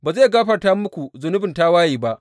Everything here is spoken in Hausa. Ba zai gafarta muku zunubin tawaye ba.